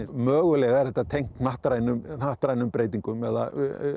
mögulega er þetta tengt hnattrænum hnattrænum breytingum eða